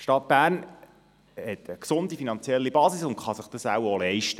Die Stadt Bern hat eine gesunde finanzielle Basis und kann es sich wohl auch leisten.